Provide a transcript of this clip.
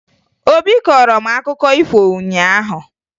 Obi kọọrọ m akụkọ ifo ụnyaahụ